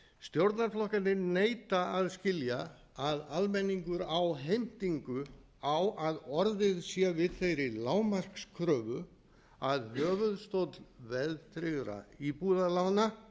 stjórnarflokkarnir neita að skilja að almenningur á heimtingu á að orðið sé við þeirri lágmarkskröfu að höfuðstóll veðtryggðra íbúðalána